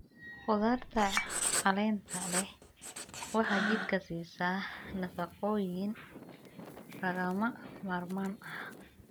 Khudaarta caleenta leh waxay jidhka siisaa nafaqooyin lagama maarmaan ah.